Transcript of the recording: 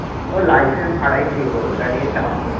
ও license ছাড়াই লিব ওটা নিয়ে চাপ নেই